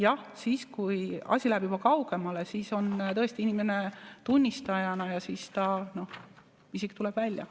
Jah, siis kui asi läheb juba kaugemale, siis on tõesti inimene tunnistajana ja tema isik tuleb välja.